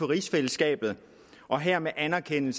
rigsfællesskabet og hermed anerkender